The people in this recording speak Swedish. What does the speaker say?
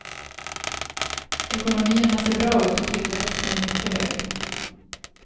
Ekonomierna ser bra ut och tillväxten är mycket hög.